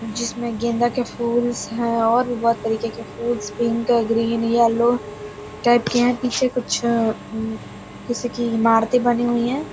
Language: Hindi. जिसमें गेंदा का फूल्स हैं और भी बहोत तरीके के फूल्स पिंक ग्रीन येलो टाइप के हैं पीछे कुछ अ- उम्म किसी की इमारते बनी हुई हैं।